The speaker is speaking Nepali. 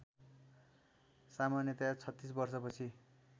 सामन्यतया ३६ वर्षपछि